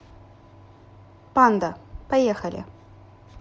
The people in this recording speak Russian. панда поехали